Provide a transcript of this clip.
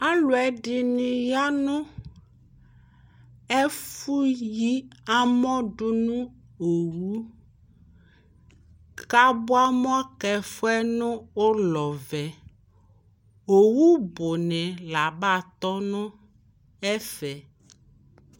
Alʋɛdɩnɩ ya nʋ ɛfʋ yi amɔ dʋ nʋ owu k'abuamɔ k'ɛfʋ yɛ nʋ ʋlɔ vɛ Owu bʋnɩ l'aba tɔ nʋ ɛfɛ